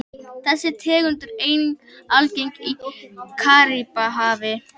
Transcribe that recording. Þessi tegund er einnig algeng í Karíbahafi.